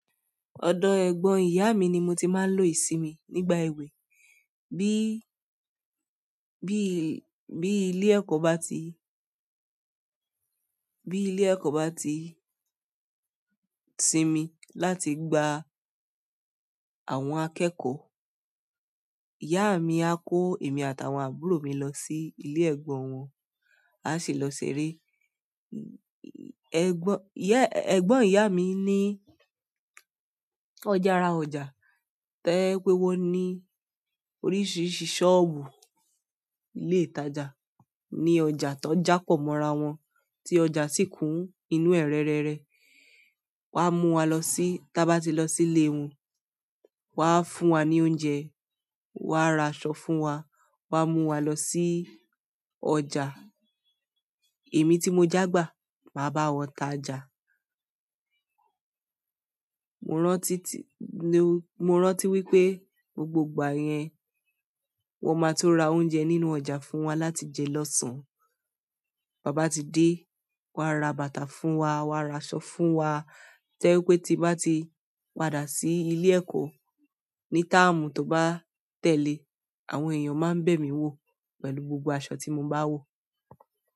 Ọ̀dọ ẹ̀gbọ́n ìyá mi ni mo ti máa ń lọ ìsinmi nígbà ẹ̀wẹ́. Bí, bí, bí ilé ẹ̀kọ́ bá ti, bí ilé ẹ̀kọ́ bá ti sinmi láti gba àwọn akẹ́kọ̀ọ́, ìyá mi a kó èmi àtàwọn àbúrò mi lọ sí ilé ẹ̀gbọ́n wọn, a sì lọ ṣeré. Ẹ̀gbọ́n, ìyá, ẹ̀gbọ́n ìyá mi ní ọjà ara ọjà tẹ́wọ́ni oríṣiríṣi sọ́ọ̀bù ilé ìtajà ní ọjà tó jápọ̀ mọ́ra wọn tí ọjà sì kún inú ẹrẹrẹ. Wàá mú wa lọ sí-- tá bá ti lọ sílé wọn, wà á fún wa ní oúnjẹ, wà á ra aṣọ fún wa, wà á mú wa lọ sí ọjà. Èmi tí mo jágbà, màá bá wọn ta jaà. Mo rántí tí, mo rántí wípé gbogbo ìgbà yẹn, wọn máa tó ra oúnjẹ nínú ọjà fún wa láti jẹ lọ́sàn. Baba ti de won ra bàtà fún wa, wa raso fún wa. Tẹ́wipe tí bá ti padà sí ilé ẹ̀kọ́ ní táàmù tó bá tẹ̀lé, àwọn èèyàn máa ń bẹ̀ mí wò pẹ̀lú gbogbo aṣọ tí mo bá wọ̀.